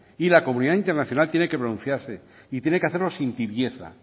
y la comunidad internacional tiene que pronunciarse y tiene que hacerlo sin tibieza